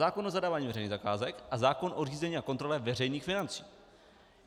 Zákon o zadávání veřejných zakázek a zákon o řízení a kontrole veřejných financí.